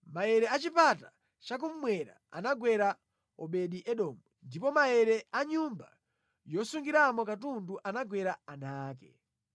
Maere a chipata chakummwera anagwera Obedi-Edomu, ndipo maere a nyumba yosungiramo katundu anagwera ana ake.